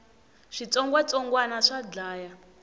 switsongwatsongwani swa dlaya